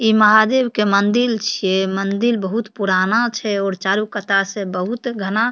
इ महादेव के मन्दिल छे मन्दिल बहुत पुराना छे और चारो कता से बहुत घना --